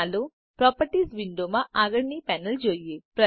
ચાલો પ્રોપર્ટીઝ વિંડોમાં આગળની પેનલ જોઈએ